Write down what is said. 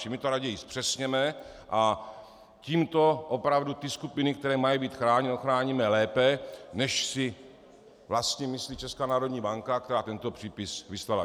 Čili my to raději zpřesněme a tímto opravdu ty skupiny, které mají být chráněny, ochráníme lépe, než si vlastně myslí Česká národní banka, která tento přípis vyslala.